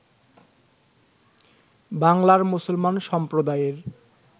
বাংলার মুসলমান সম্প্রদায়ের